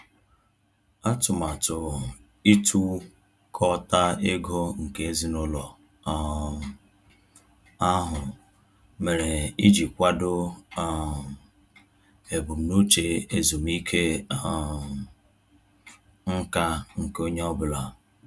Atụmatụ ịtukọta ego nke ezinụlọ um ahụ mere iji kwado um ebumnuche ezumike um nká nke onye ọ bụla.